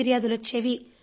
ఫిర్యాదులు వచ్చేవి